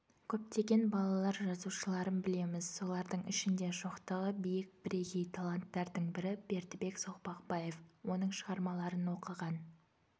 көптеген балалар жазушыларын білеміз солардың ішінде шоқтығы биік бірегей таланттардың бірі бердібек соқпақбаев оның шығармаларын оқыған